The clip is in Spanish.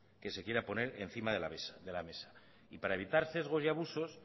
que se quiera poner encima de la mesa y para evitar sesgos y abusos